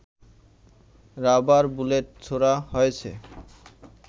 rubber bullet ছোঁড়া হয়েছে